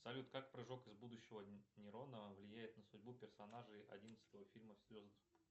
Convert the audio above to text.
салют как прыжок из будущего нейрона влияет на судьбу персонажей одиннадцатого фильма